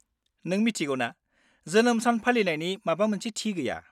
नों मिथिगौ ना, जोनोम सान फालिनायनि माबा मोनसे थि गैया।